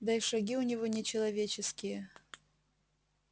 да и шаги у него не человеческие